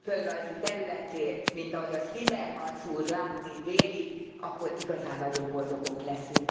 földrajzi területén, mint ahogy azt Timmermans úr látni véli, akkor igazán nagyon boldogok leszünk.